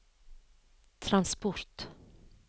transport